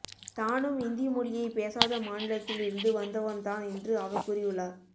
தானும் இந்தி மொழியை பேசாத மாநிலத்தில் இருந்து வந்தவன்தான் என்று அவர் கூறியுள்ளார்